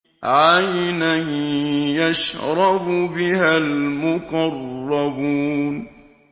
عَيْنًا يَشْرَبُ بِهَا الْمُقَرَّبُونَ